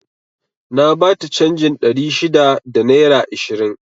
Na bata canjin ɗari shida da naira ishirin